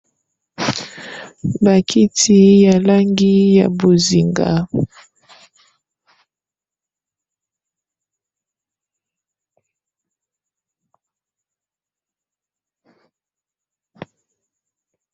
Bakiti ya langi ya bozinga.